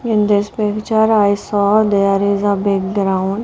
In this picture I saw there is a big ground.